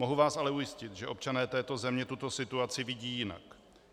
Mohu vás ale ujistit, že občané této země tuto situaci vidí jinak.